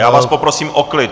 Já vás poprosím o klid!